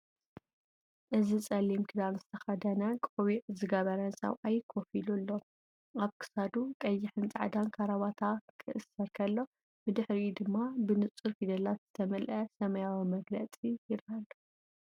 እዚ ጸሊም ክዳን ዝተከደነ ቆቢዕን ገበረን ሰብኣይ ኮፍ ኢሉ ኣሎ። ኣብ ክሳዱ ቀይሕን ጻዕዳን ካራባታ ክእሰር ከሎ፡ ብድሕሪኡ ድማ ብንጹር ፊደላት ዝተመልአ ሰማያዊ መግለጺ ይረአ ኣሎ።